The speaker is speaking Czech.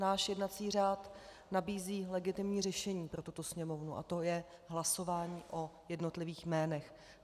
Náš jednací řád nabízí legitimní řešení pro tuto Sněmovnu, a to je hlasování o jednotlivých jménech.